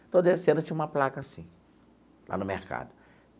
Estou descendo, tinha uma placa assim, lá no mercado.